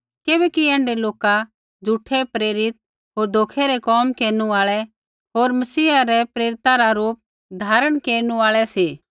किबैकि ऐण्ढै लोका झ़ूठै प्रेरित होर धोखै रै कोम केरनु आल़ै होर मसीहा रै प्रेरिता रा रूप धारण केरनु आल़ै सी